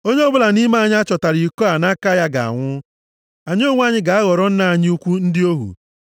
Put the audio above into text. Onye ọbụla nʼime anyị a chọtara iko a nʼaka ya ga-anwụ. Anyị onwe anyị ga-aghọrọ nna anyị ukwu ndị ohu.”